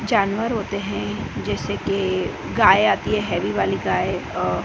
जानवर होते हैं जैसे की गाय आती हैं हेवी वाली गाय अ--